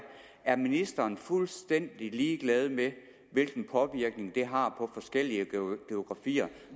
er ministeren fuldstændig ligeglad med hvilken påvirkning det har på forskellige geografier